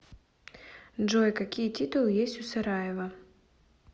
джой какие титулы есть у сараево